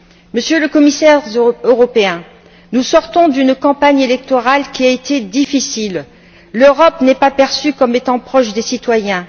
Monsieur le Commissaire, nous sortons d'une campagne électorale qui a été difficile l'Europe n'est pas perçue comme étant proche des citoyens.